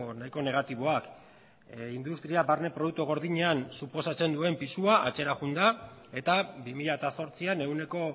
nahiko negatiboak industria barne produktu gordinean suposatzen duen pisua atzera joan da eta bi mila zortzian ehuneko